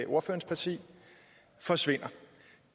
ordførerens parti forsvinder